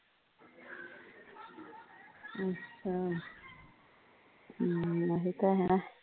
ਹਮ ਓਹੀ ਤਾਂ ਹੈ